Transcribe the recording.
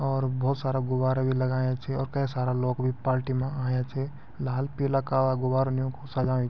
और बहौत सारा गुब्बारा बि लगायां छ और के सारा लोग बि पालटी मा आया छ लाल पीला काला गुब्बारा न योकुं सजायू।